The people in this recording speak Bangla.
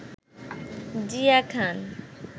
জিয়া খান